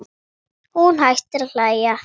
Hún hættir að hlæja.